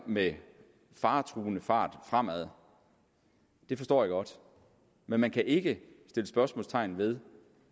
med faretruende fart fremad det forstår jeg godt men man kan ikke sætte spørgsmålstegn ved